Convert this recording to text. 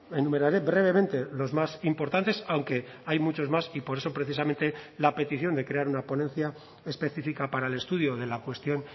enumeraré brevemente los más importantes aunque hay muchos más y por eso precisamente la petición de crear una ponencia específica para el estudio de la cuestión